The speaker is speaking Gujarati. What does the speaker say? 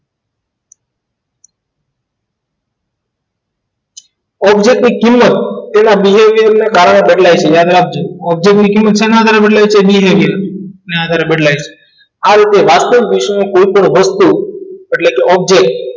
object ની કિંમત એના behaviour ને કારણે બદલાઈ object ની કિંમત શેના આધારે બદલાય છે બદલાય છે આ રીતે વિશ્વમાં કોઈ પણ વસ્તુ એટલે કે object